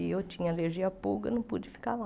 E eu tinha alergia a pulga, não pude ficar lá.